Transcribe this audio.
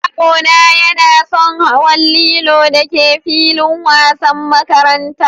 Yaro na yana son hawan lilon da ke filin wasan makarantan.